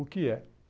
O que é?